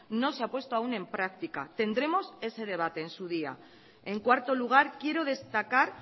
no se ha puesto aún en práctica tendremos ese debate en su día en cuarto lugar quiero destacar